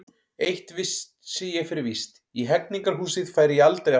Eitt vissi ég fyrir víst: í Hegningarhúsið færi ég aldrei aftur.